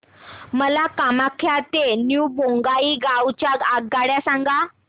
मला कामाख्या ते न्यू बोंगाईगाव च्या आगगाड्या सांगा